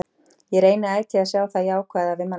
Ég reyni ætíð að sjá það jákvæða við mannlífið.